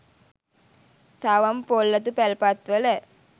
තවම පොල් අතු පැල්පත්වල.